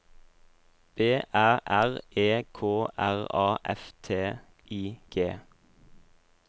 B Æ R E K R A F T I G